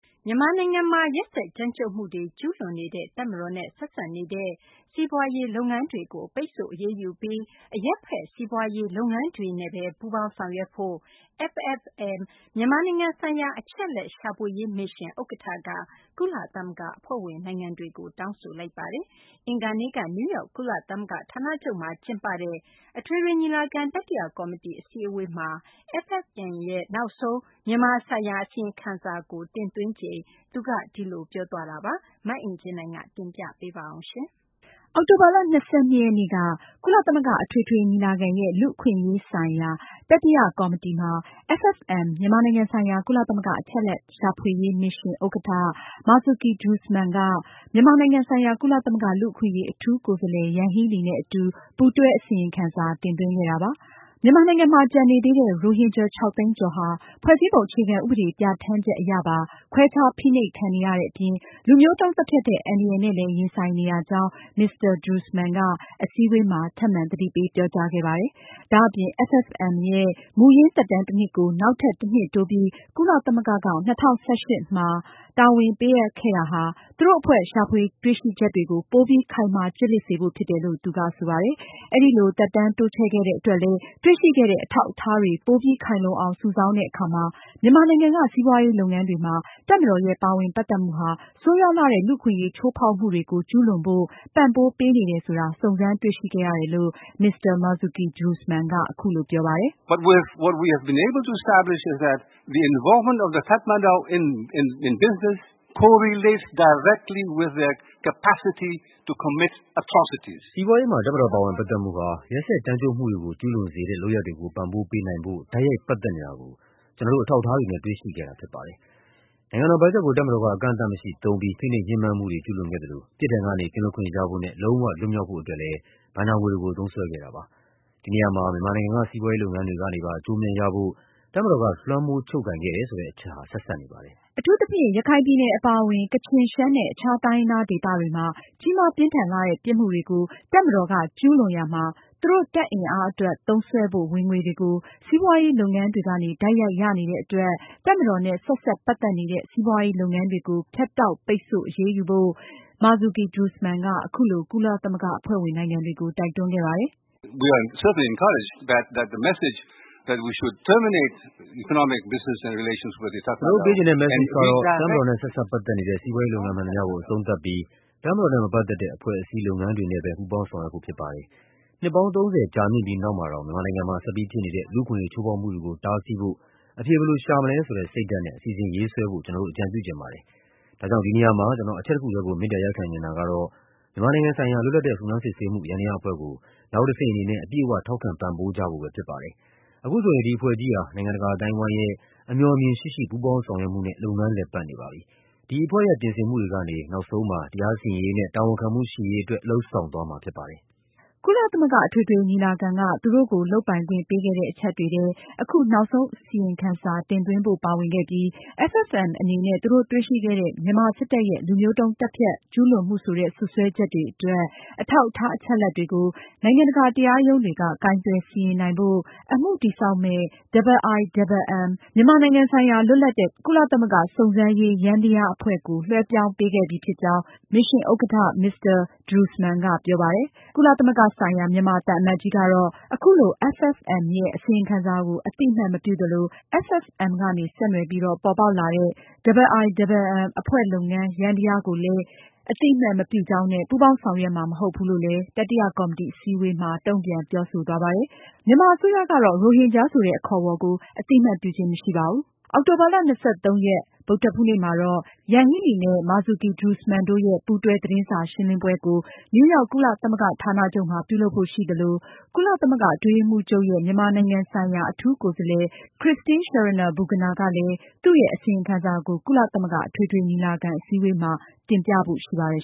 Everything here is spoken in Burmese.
မြန်မာနိုင်ငံမှာ ရက်စက်ကြမ်းကြုတ်မှုတွေ ကျူးလွန်နေတဲ့ တပ်မတော်နဲ့ ဆက်စပ်နေတဲ့ စီးပွားရေးလုပ်ငန်းတွေကို ပိတ်ဆို့အရေးယူပြီး အရပ်ဖက် စီးပွားရေးလုပ်ငန်းတွေနဲ့သာ ပူးပေါင်းဆောင်ရွက်ဖို့ FFM မြန်မာနိုင်ငံဆိုင်ရာ အချက်အလက်ရှာဖွေရေးမစ်ရှင် ဥက္ကဋ္ဌက ကုလသမဂ္ဂအဖွဲ့ဝင်နိုင်ငံတွေကို တောင်းဆိုလိုက်ပါတယ်။ အင်္ဂါနေ့က နယူးရောက် ကုလသမဂ္ဂဌာနချုပ်မှာကျင်းပတဲ့ ကုလသမဂ္ဂအထွေထွေညီလာခံ တတိယကော်မတီ အစည်းအဝေးမှာ FFM ရဲ့ နောက်ဆုံး မြန်မာနိုင်ငံဆိုင်ရာ အစီရင်ခံစာကို တင်သွင်းချိန်မှာ သူကအဲဒီလို ပြောသွားတာပါ။ မအင်ကြင်းနိုင်က အပြည့်အစုံကို တင်ပြမှာပါ။ FFM မြန်မာနိုင်ငံဆိုင်ရာ ကုလသမဂ္ဂ အချက်အလက် ရှာဖွေရေးမစ်ရှင် ဥက္ကဌ Marzuki Darusman ဟာ မြန်မာနိုင်ငံဆိုင်ရာ ကုလသမဂ္ဂလူ့အခွင့်အရေး အထူးကိုယ်စားလှယ် Yanghee Lee နဲ့အတူ ပူးတွဲ အစီရင်ခံစာတင်သွင်းခဲ့တာပါ။ မြန်မာနိုင်ငံမှာ ကျန်နေသေးတဲ့ ရိုဟင်ဂျာ (၆)သိန်းကျော်ဟာ ဖွဲ့စည်းပုံအခြေခံဥပဒေပြဌာန်းချက်အရပါ ခွဲခြား ဖိနှိပ်ခံနေရတဲ့အပြင်၊ လူမျိုးတုန်းသတ်ဖြတ်တဲ့ အန္တရာယ်နဲ့လည်း ရင်ဆိုင်နေရကြောင်း Mr. Darusman က အစည်းအဝေးမှာ ထပ်မံသတိပေးပြောကြားခဲ့ပါတယ်။ ဒါအပြင် FFM ရဲ့ မူရင်း သက်တမ်း တနှစ်ကို နောက်ထပ် တနှစ်တိုးပြီး ကုလသမဂ္ဂက ၂၀၁၈ ခုနှစ်က တာဝန်ပေးအပ်ခဲ့ရာမှာ သူတို့အဖွဲ့ ရှာဖွေတွေ့ရှိချက်တွေကို ပိုပြီး ခိုင်မာ ကျစ်လျစ်စေဖို့ဖြစ်တယ်လို့ သူက ဆိုပါတယ်။ အဲဒီလို သက်တမ်းတိုးချဲ့ခဲ့တဲ့အတွက်လည်း တွေ့ရှိတဲ့ အထောက်အထားတွေ ပိုပြီးခိုင်လုံအောင် စုဆောင်းတဲ့အခါမှာ မြန်မာနိုင်ငံက စီးပွားရေးလုပ်ငန်းတွေမှာ တပ်မတော်ရဲ့ ပါဝင်ပတ်သက်မှုဟာ ဆိုးရွားလှတဲ့ လူ့အခွင့်အရေးချိုးဖောက်မှုတွေကို ကျူးလွန်ဖို့ ပံ့ပိုးပေးနေတယ်ဆိုတာ စုံစမ်းတွေ့ရှိခဲ့ရတယ်လို့ Mr. Marzuki Darusman က အခုလို ပြောပါတယ်။ “စီးပွားရေးမှာ တပ်မတော်ပါဝင်ပတ်သက်မှုဟာ ရက်စက်ကြမ်းကြုတ်မှုတွေကို ကျူးလွန်စေတဲ့ လုပ်ရပ်တွေကို ပံ့ပိုးပေးနိုင်ဖို့ တိုက်ရိုက်ပတ်သက်နေတာကို ကျနော်တို့ အထောက်အထားတွေနဲ့ တွေ့ရှိခဲ့တာဖြစ်ပါတယ်။ နိုင်ငံတော် ဘတ်ဂျက်ကို တပ်မတော်က အကန့်အသတ်မရှိ သုံးပြီး ဖိနှိပ်ညှင်းပမ်းမှုတွေ ကျူးလွန်ခဲ့သလို၊ ပြစ်ဒဏ်ကနေ ကင်းလွတ်ခွင့်ရဖို့နဲ့ လုံးဝလွတ်မြောက်ဖို့ အတွက်လည်း ဘဏ္ဍာငွေတွေကို သုံးစွဲခဲ့တာပါ။ ဒီနေရာမှာ မြန်မာနိုင်ငံက စီးပွားရေးလုပ်ငန်းတွေ ကနေပါ အကျိုးအမြတ်ရဖို့ တပ်မတော်က လွှမ်းမိုးချုပ်ကိုင်ခဲ့တယ်ဆိုတဲ့အချက်ဟာ ဆက်စပ်နေပါတယ်။” အထူးသဖြင့် ရခိုင်ပြည်နယ်အပါဝင် ကချင်၊ ရှမ်းနဲ့ အခြားတိုင်းရင်းသားဒေသတွေမှာ ကြီးမားပြင်း ထန်လှတဲ့ ပြစ်မှုတွေကို တပ်မတော်က ကျူးလွန်ရာမှာ သူတို့တပ်အင်အားအတွက် သုံးစွဲဖို့ ဝင်ငွေတွေကို စီးပွားရေးလုပ်ငန်းတွေကနေ တိုက်ရိုက်ရနေတဲ့အတွက် တပ်မတော်နဲ့ ဆက်စပ်ပတ်သက်တဲ့ စီးပွားရေးလုပ်ငန်းတွေကို ဖြတ်တောက် ပိတ်ဆို့ အရေးယူဖို့ Marzuki Darusman က အခုလို ကုလသမဂ္ဂအဖွဲ့ဝင်နိုင်ငံတွေကို တိုက်တွန်းခဲ့ပါတယ်။ “ကျနော်တို့ ပေးချင်တဲ့ message ကတော့ တပ်မတော်နဲ့ ဆက်စပ်ပတ်သက်နေတဲ့ စီးပွားရေးလုပ်ငန်း မှန်သမျှကို အဆုံးသတ်ပြီး တပ်မတော်နဲ့ မပတ်သက်တဲ့ အဖွဲ့အစည်း၊ လုပ်ငန်းတွေနဲ့ပဲ ပူးပေါင်း ဆောင်ရွက် ဖို့ဖြစ်ပါတယ်။ နှစ်ပေါင်း ၃၀ ကြာမြင့်ပြီးနောက်မှာတောင် မြန်မာနိုင်ငံမှာ ဆက်ပြီး ဖြစ်နေတဲ့ လူ့အခွင့်အရေးချိုးဖောက်မှုတွေကို တားဆီးဖို့ အဖြေဘယ်လိုရှာမလဲဆိုတဲ့ စိတ်ဓါတ်နဲ့ အစီအစဉ်ရေးဆွဲဖို့ ကျနော်တို့ အကြံပြုချင်ပါတယ်။ ဒါကြောင့် ဒီနေရာမှာ ကျနော် အချက်တခုတည်းကို မေတ္တာရပ်ခံချင်တာကတော့ မြန်မာနိုင်ငံဆိုင်ရာ လွတ်လပ်တဲ့ စုံစမ်းစစ်ဆေးမှု ယန္တရားအဖွဲ့ ကို နောက်တဆင့်အနေနဲ့ အပြည့်အ၀ ထောက်ခံပံ့ပိုးကြဖို့ပဲ ဖြစ်ပါတယ်။ အခုဆိုရင် ဒီအဖွဲ့ကြီးဟာ နိုင်ငံတကာအသိုင်းအဝိုင်းရဲ့ အမြော်အမြင်ရှိရှိ ပူးပေါင်းဆောင်ရွက်မှုနဲ့ လုပ်ငန်းလည်ပတ်နေပါပြီ။ ဒီအဖွဲ့ရဲ့ ပြင်ဆင်မှုတွေကနေ နောက်ဆုံးမှာ တရားစီရင်ရေးနဲ့ တာဝန်ခံမှုရှိရေးအတွက် လုပ်ဆောင်သွားမှာဖြစ်ပါတယ်။” ကုလသမဂ္ဂအထွေထွေညီလာခံက သူတို့ကို လုပ်ပိုင်ခွင့်ပေးခဲ့တဲ့ အချက်တွေထဲမှာ အခု နောက်ဆုံးအစီရင်ခံစာတင်သွင်းဖို့ ပါဝင်ခဲ့ပြီး FFM အနေနဲ့ သူတို့တွေ့ရှိခဲ့တဲ့ မြန်မာစစ်တပ်ရဲ့ လူမျိုးတုန်း သတ်ဖြတ် ကျူးလွန်မှုဆိုတဲ့ စွပ်စွဲချက်တွေအတွက် အထောက်အထား အချက်အလက် တွေကို နိုင်ငံတကာတရားရုံးတွေက ကိုင်တွယ်စီရင်နိုင်ဖို့ အမှုတည်ဆောက်မယ့် IIMM မြန်မာနိုင်ငံဆိုင်ရာ လွတ်လပ်တဲ့ ကုလသမဂ္ဂ စုံစမ်းစစ်ဆေးရေးယန္တရားအဖွဲ့ကို လွဲှဲပြောင်းပေးခဲ့ပြီဖြစ်ကြောင်း မစ်ရှင်ဥက္ကဌ Mr. Marzuki Darusman ကပြောခဲ့ပါတယ်။ ကုလသမဂ္ဂဆိုင်ရာ မြန်မာသံအမတ်ကြီးကတော့ အခုလို FFM ရဲ့အစီရင်ခံစာကို အသိအမှတ်မပြုသလို FFM ကနေ ဆက်နွယ်ပြီးတော့ ပေါ်ပေါက်လာတဲ့ IIMM အဖွဲ့ လုပ်ငန်းယန္တရားကိုလည်း အသိအမှတ်မပြုကြောင်းနဲ့ ပူးပေါင်းဆောင်ရွက်မှာ မဟုတ်ဘူးလို့ တတိယကော်မတီ အစည်းအဝေးမှာ တုံ့ပြန်ပြောဆိုသွားပါတယ်။ မြန်မာအစိုးရအနေနဲ့ ရိုဟင်ဂျာဆိုတဲ့ အခေါ်အဝေါ်ကို အသိအမှတ်ပြုခြင်းမရှိပါဘူး။ အောက်တိုဘာလ ၂၃ ရက် ဗုဒ္ဓဟူးနေ့မှာတော့ Yanghee Lee နဲ့ Marzuki Darusman တို့ရဲ့ ပူးတွဲ သတင်းစာရှင်းလင်းပွဲကို နယူးရောက် ကုလသမဂ္ဂဌာနချုပ်မှာ ပြုလုပ်ဖို့ရှိသလို ကုလသမဂ္ဂအတွင်းရေးမှူးချုပ်ရဲ့ မြန်မာနိုင်ငံဆိုင်ရာ အထူးကိုယ်စားလှယ် Christine Schraner Burgener ကလည်း သူရဲ့ အစီရင်ခံစာကို ကုလသမဂ္ဂအထွေထွေညီလာခံ အစည်းအဝေးမှာ တင်ပြဖို့ရှိပါတယ်